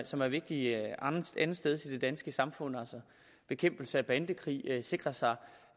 som er vigtige andetsteds i det danske samfund bekæmpelse af bandekrig at sikre sig